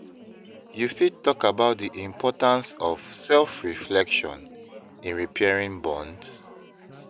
you fit talk about di importance of self-reflection in repairing bonds?